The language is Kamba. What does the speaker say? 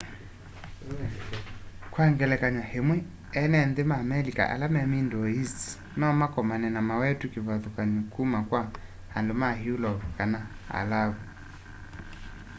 kwa ngelekany'o îmwe ene nthî ma amelika ala me middle east nomakomane na mawetu kîvathûkany'o kuma kwa andu ma eulope kana alavu